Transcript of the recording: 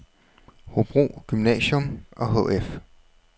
Hobro Gymnasium og Hf